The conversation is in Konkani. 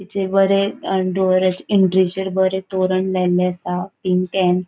बरे अ डोर एन्ट्रीचेर बरे तोरण लायले आसा इन्टेन्ट